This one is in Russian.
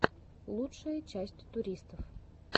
лучшая часть туристов